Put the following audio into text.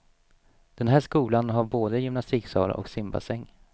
Den här skolan har både gymnastiksal och simbassäng.